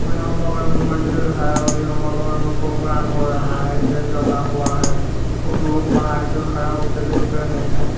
यहां बगल में मंदिर है और यहां बगल में प्रोग्राम हो रहा है टेंट लगा हुआ है कुछ लोग बाहर से खड़ा होकर देख रहे हैं।